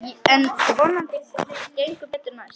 En vonandi gengur betur næst.